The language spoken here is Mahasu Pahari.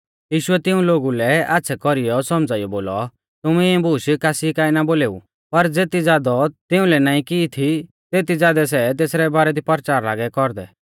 यीशुऐ तिऊं लोगु लै आच़्छ़ै कौरीऐ सौमझ़ाइयौ बोलौ तुमै इऐं बूश कासी काऐ ना बोलेऊ पर ज़ेती ज़ादौ तिउंलै नाईं की थी तेती ज़ादै सै तेसरै बारै दी परचार लागै कौरदै